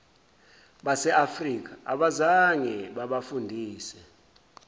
baseafrika abazange babafundise